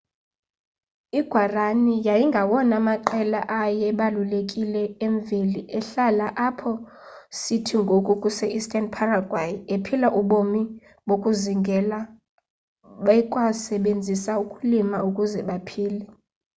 i guaraní yayingawona maqela ayebalulekile emveli ehlala apho sithi ngoku kuse eastern paraguay ephila ubomi bokuzingela bekwasebenzisa ukulima ukuze baphile